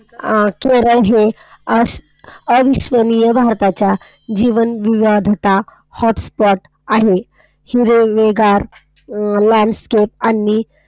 अविस्मरणीय भारताच्या जीवनविविधता Hotspot आहेत, ही Railway landscape आणि.